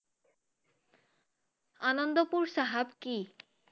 আনন্দপুৰ চাহাব কি?